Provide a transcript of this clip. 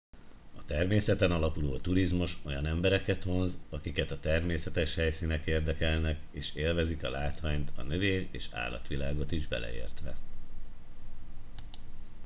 a természeten alapuló turizmus olyan embereket vonz akiket a természetes helyszínek érdekelnek és élvezik a látványt a növény és állatvilágot is beleértve